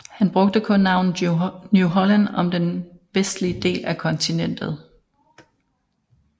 Han brugte kun navnet New Holland om den vestlige del af kontinentet